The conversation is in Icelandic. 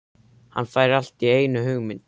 Hann fær allt í einu hugmynd.